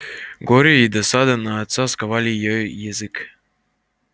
горе и досада на отца сковали ей язык